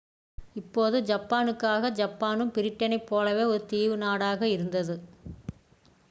இப்போது ஜப்பானுக்காக ஜப்பானும் பிரிட்டனைப் போலவே ஒரு தீவு நாடாக இருந்தது